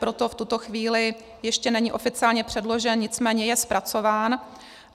Proto v tuto chvíli ještě není oficiálně předložen, nicméně je zpracován.